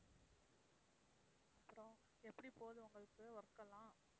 அப்புறம் எப்படி போகுது உங்களுக்கு work எல்லாம்?